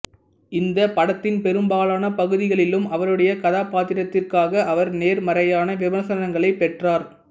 இந்தப் படத்தின் பெரும்பாலான பகுதிகளிலும் அவருடைய கதாபாத்திரத்திற்காக அவர் நேர்மறையான விமர்சனங்களைப் பெற்றார்